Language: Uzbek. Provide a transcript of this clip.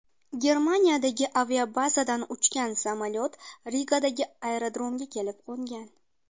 Germaniyadagi aviabazadan uchgan samolyot Rigadagi aerodromga kelib qo‘ngan.